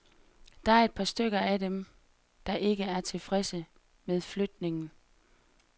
Der er et par stykker af dem, der ikke er tilfredse med flytningen.